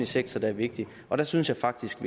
sektor der er vigtig der synes jeg faktisk